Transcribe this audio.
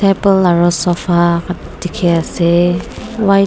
able aro sofa dekhi ase why--